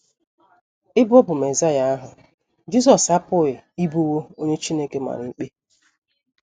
Ebe ọ bụ Mesaịa ahụ, Jisọs apụghị ịbụwo onye Chineke mara ikpe.